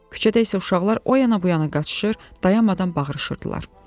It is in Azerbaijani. Küçədə isə uşaqlar o yana bu yana qaçışır, dayanmadan bağırışırdılar.